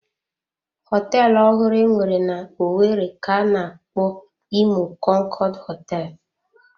Họteelụ ọhụrụ enwere n'owerri ka-ana akpọ Imo konkood hoteelu.